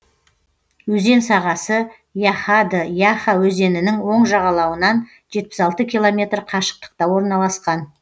өзен сағасы яхады яха өзенінің оң жағалауынан жетпіс алты километр қашықтықта орналасқан